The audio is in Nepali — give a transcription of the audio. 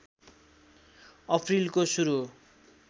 अप्रिलको सुरु